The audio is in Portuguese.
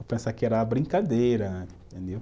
Eu pensava que era uma brincadeira